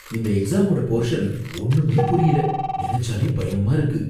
இந்த எக்ஸாமோட போர்ஷன் ஒன்னுமே புரியல, நினைச்சாலே பயமா இருக்கு.